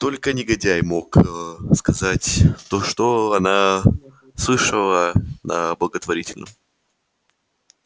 только негодяй мог аа сказать то что она слышала на благотворительном